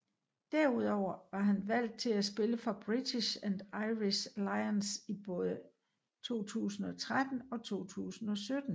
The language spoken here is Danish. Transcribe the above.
Derudover var han udvalgt til at spille for British and Irish Lions i både 2013 og 2017